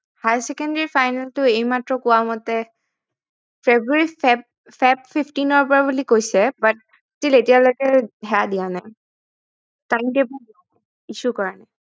higher secondary final টো এইমাত্ৰ কোৱা মতে ফেব্ৰুৱাৰী feb fifteen ৰ পৰা বুলি কৈছে but till এতিয়ালৈকে সেয়া দিয়া নাই time table দিয়া নাই